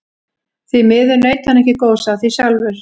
Því miður naut hann ekki góðs af því sjálfur.